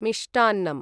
मिष्टान्नम्